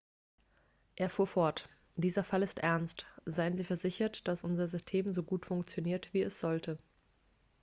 er fuhr fort dieser fall ist ernst seien sie versichert dass unser system so gut funktioniert wie es sollte